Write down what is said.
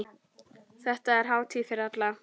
Þetta er hátíð fyrir alla.